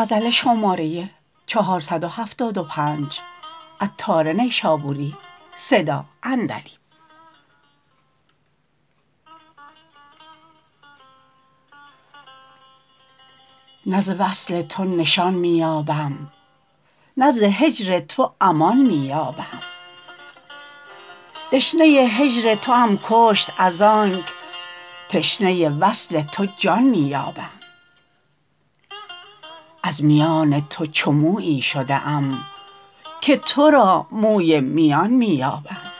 نه ز وصل تو نشان می یابم نه ز هجر تو امان می یابم دشنه هجر توام کشت از آنک تشنه وصل تو جان می یابم از میان تو چو مویی شده ام که تورا موی میان می یابم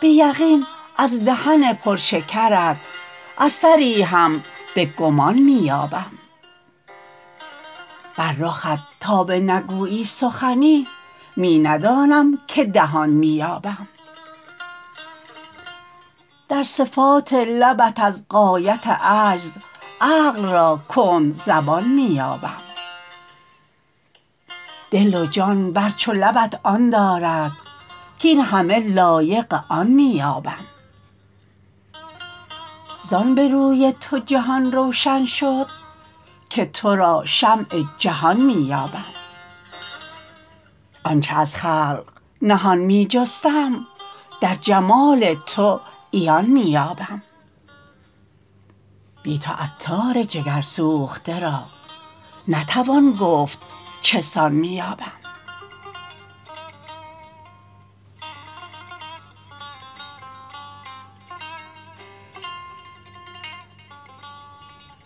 به یقین از دهن پرشکرت اثری هم به گمان می یابم بر رخت تا به نگویی سخنی می ندانم که دهان می یابم در صفات لبت از غایت عجز عقل را کند زبان می یابم دل و جان بر چو لبت آن دارد کین همه لایق آن می یابم زان به روی تو جهان روشن شد که تورا شمع جهان می یابم آنچه از خلق نهان می جستم در جمال تو عیان می یابم بی تو عطار جگر سوخته را نتوان گفت چه سان می یابم